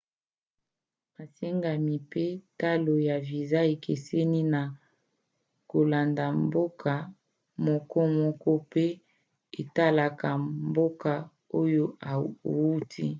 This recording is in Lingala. masengami mpe talo ya viza ekeseni na kolanda mboka mokomoko mpe etalaka mboka oyo outi